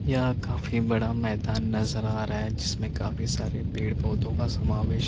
यहां काफी बड़ा मैदान नजर आ रहा है जिसमें काफी सारे पेड़ पौधों का समावेश --